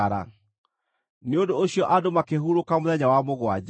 Nĩ ũndũ ũcio andũ makĩhurũka mũthenya wa mũgwanja.